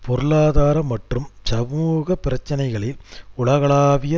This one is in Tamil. பொருளாதார மற்றும் சமூக பிரச்சினைகளில் உலகளாவிய